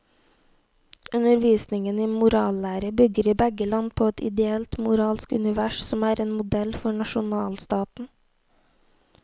Undervisningen i morallære bygger i begge land på et ideelt moralsk univers som en modell for nasjonalstaten.